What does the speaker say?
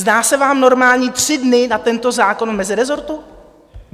Zdá se vám normální tři dny na tento zákon v mezirezortu?